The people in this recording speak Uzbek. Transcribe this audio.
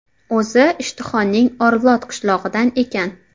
O‘zi Ishtixonning Orlot qishlog‘idan ekan.